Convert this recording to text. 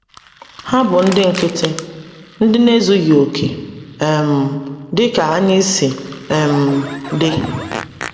Ha bụ ndị nkịtị, ndị na-ezughị okè, um dị ka anyị si um dị.